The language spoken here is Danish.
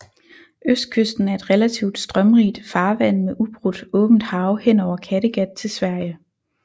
Østkysten er et relativt strømrigt farvand med ubrudt åbent hav hen over Kattegat til Sverige